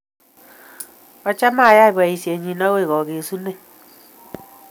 Achame ayai poisyini akoy kagesunet